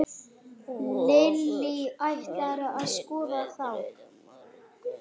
Vogur, hvernig er veðrið á morgun?